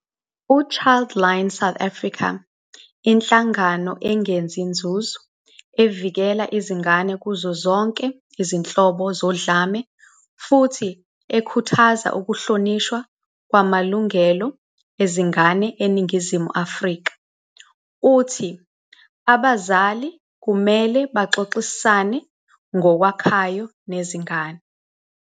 U-Childline South Africa, inhlangano engenzi nzuzo evikela izingane kuzo zonke izinhlobo zodlame futhi ekhuthaza ukuhlonishwa kwamalungelo ezingane eNingizimu Afrika, uthi abazali kumele baxoxisane ngokwakhayo nezingane.